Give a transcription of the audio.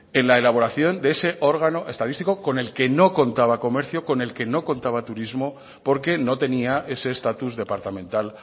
en la elaboración de ese órgano estadístico con el que no contaba comercio con el que no contaba turismo porque no tenía ese estatus departamental